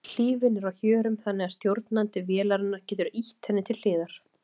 Hlífin er á hjörum þannig að stjórnandi vélarinnar getur ýtt henni til hliðar.